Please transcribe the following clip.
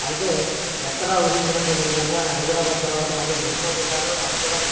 ఐతే ఎక్కడ ఊహించని విదంగా హైద్రాబాద్ తర్వాత మల్లి కృష్ణ జిల్లాల్లో --